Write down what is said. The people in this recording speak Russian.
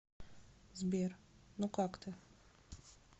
сбер ну как ты